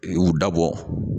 U dabɔ